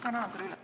Ma annan selle üle.